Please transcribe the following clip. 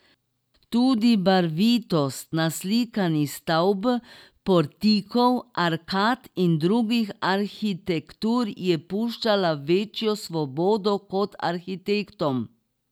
Tudi barvitost naslikanih stavb, portikov, arkad in drugih arhitektur je puščala večjo svobodo kot arhitektom.